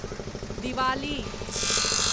Diwali